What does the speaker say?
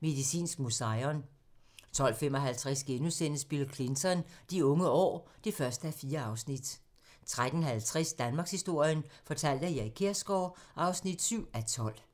Medicinsk Museion * 12:55: Bill Clinton: De unge år (1:4)* 13:50: Danmarkshistorien fortalt af Erik Kjersgaard (7:12)